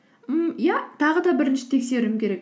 ммм иә тағы да бірінші тексеруім керек